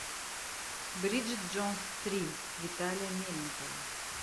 бриджит джонс три виталия мельникова